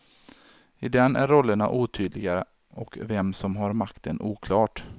I den är rollerna otydliga och vem som har makten oklart.